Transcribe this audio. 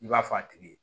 I b'a fɔ a tigi ye